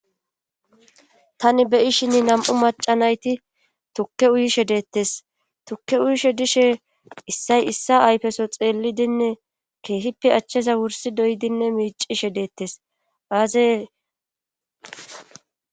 tani be'ishinn nam7u maca nayti tukke uyishe deettes tukke uyishe dishe issay issa ayfeso xeellidinne keehippe achcheza wursi doydinne miicishe deettes aaze